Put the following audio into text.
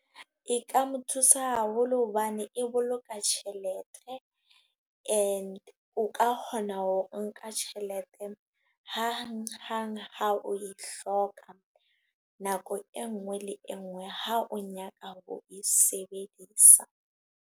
E ka mo thusa haholo, hobane e boloka tjhelete. E ne o ka kgona ho nka tjhelete hang hang, ha o e hloka. Nako e nngwe le engwe ha o nyaka ho e sebedisa.